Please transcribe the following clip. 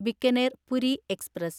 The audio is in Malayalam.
ബിക്കനേർ പുരി എക്സ്പ്രസ്